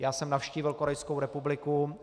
Já jsem navštívil Korejskou republiku.